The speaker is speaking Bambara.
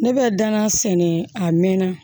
Ne bɛ danga sɛnɛ a mɛn na